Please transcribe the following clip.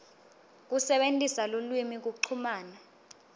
kusebentisa lulwimi kuchumana